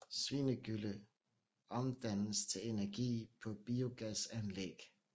Svinegylle omdannes til energi på biogasanlæg